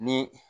Ni